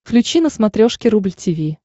включи на смотрешке рубль ти ви